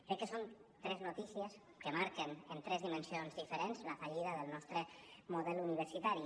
crec que són tres notícies que marquen en tres dimensions diferents la fallida del nostre model universitari